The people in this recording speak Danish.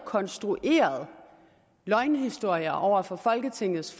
konstrueret løgnehistorier over for folketingets